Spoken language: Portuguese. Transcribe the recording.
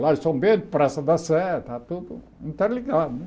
Lar São Bento, Praça da Sé, está tudo interligado né.